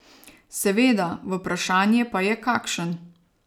Seveda, vprašanje pa je, kakšen.